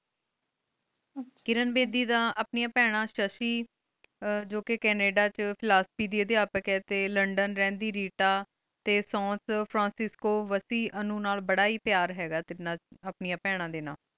ਕਿਰਣ ਬੀਜੀ ਦਾ ਆਪਣੀ ਬਹਨਾ ਨਾਲ ਸਸਿ ਜੋ ਕੀ ਕਾਨਿਦਾ ਡੀ ਵੇਚ ਫੁਲੋਸ੍ਫੀ ਉਦਯ ਆਪ ਖਨਾਲ ਲੰਡਨ ਰਹਨ ਦੇ ਰਹੀ ਰੀਤਾ ਸੁਨਸ ਫ੍ਰੋੰਸੇ ਸੇਸ੍ਕੂ ਵਾਸੀ ਅਨੂੰ ਨਾਲ ਬਾਰਾ ਹੇ ਪ੍ਯਾਰ ਸੇ ਅਪ੍ਨਿਯਾਂ ਬਹਨਾ ਡੀ ਨਾਲ